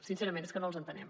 sincerament és que no els entenem